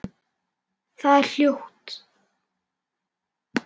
Það er hljótt.